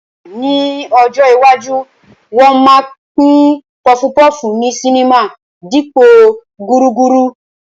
Ní ọjọ́ iwájú, wọn máa ma pín pọfupọ́ọ̀fù ní sinimá dípòo gúrúrú